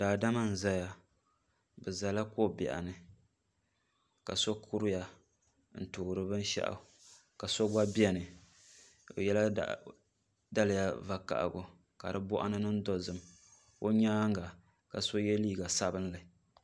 Daadama n ʒɛya bi ʒɛla ko biɛɣu ni ka so kuriya n duɣuri binshaɣu ka so kuriya bi yɛla daliya vakaɣali ka di boɣu ni niŋ dozim o nyaanga ka so yɛ liiga sabinli